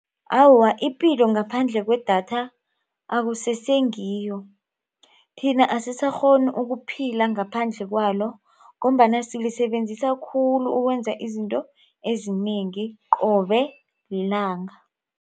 Awa, ipilo ngaphandle kwedatha akusesengiyo. Thina asisakghoni ukuphila ngaphandle kwalo ngombana silisebenzisa khulu ukwenza izinto ezinengi qobe lilanga.